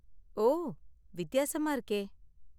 ஓ, வித்தியாசமா இருக்கே!